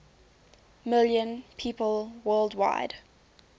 million people worldwide